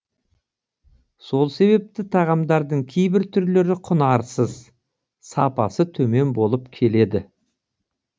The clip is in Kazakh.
сол себепті тағамдардың кейбір түрлері құнарсыз сапасы төмен болып келеді